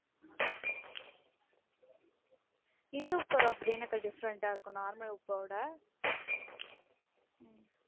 இந்துப்பு அப்படி என்னக்கா different ஆ இருக்கு normal உப்ப விட? உம்